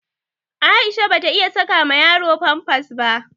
Aisha bata iya saka ma yaro famfas ba.